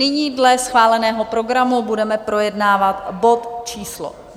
Nyní dle schváleného programu budeme projednávat bod číslo